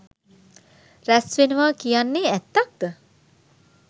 රැස් වෙනවා කියන්නේ ඇත්තක්ද?